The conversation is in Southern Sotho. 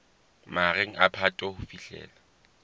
mahareng a phato ho fihlela